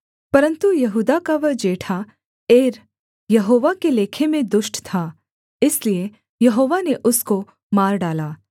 परन्तु यहूदा का वह जेठा एर यहोवा के लेखे में दुष्ट था इसलिए यहोवा ने उसको मार डाला